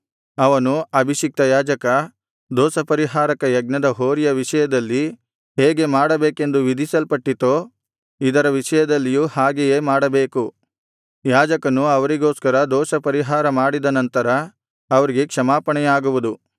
ಅವನು ಅಭಿಷಿಕ್ತ ಯಾಜಕ ದೋಷಪರಿಹಾರಕ ಯಜ್ಞದ ಹೋರಿಯ ವಿಷಯದಲ್ಲಿ ಹೇಗೆ ಮಾಡಬೇಕೆಂದು ವಿಧಿಸಲ್ಪಟ್ಟಿತೋ ಇದರ ವಿಷಯದಲ್ಲಿಯೂ ಹಾಗೆಯೇ ಮಾಡಬೇಕು ಯಾಜಕನು ಅವರಿಗೋಸ್ಕರ ದೋಷಪರಿಹಾರ ಮಾಡಿದನಂತರ ಅವರಿಗೆ ಕ್ಷಮಾಪಣೆಯಾಗುವುದು